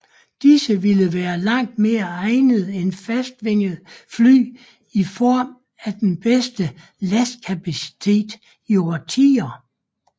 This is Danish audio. Disse ville være langt mere egnede end fastvingede fly i form af den bedste lastkapacitet i årtier